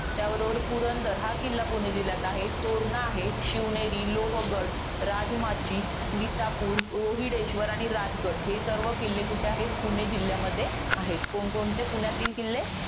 त्याबरोबर पुरंदर, हा पुणे जिल्ह्यामध्ये आहे. तोरणा आहे. शिवनेर, लोहगड, राजमाची, विसापूर रोहिडेश्वर आणि राजगड. हे सर्व गड कुठे आहे? पुणे जिल्ह्यामध्ये आहेत. कोणकोणते पुणे जिल्ह्यातील किल्ले?